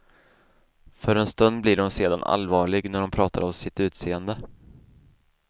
För en stund blir hon sedan allvarlig när hon pratar om sitt utseende.